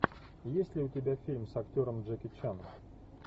есть ли у тебя фильм с актером джеки чаном